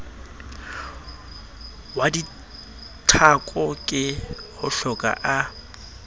wa dithako ke hohloka a